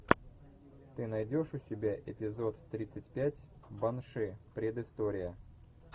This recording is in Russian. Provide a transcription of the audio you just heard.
ты найдешь у себя эпизод тридцать пять банши предыстория